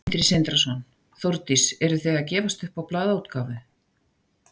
Sindri Sindrason: Þórdís, eru þið að gefast upp á blaðaútgáfu?